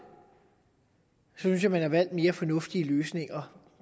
synes jeg at man har valgt mere fornuftige løsninger